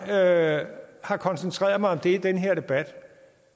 at jeg har koncentreret mig om det i den her debat